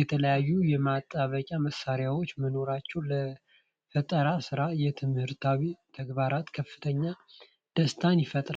የተለያዩ የማጣበቂያ መሳሪያዎች መኖራቸው ለፈጠራ ስራና ለትምህርታዊ ተግባራት ከፍተኛ ደስታን ይፈጥራል።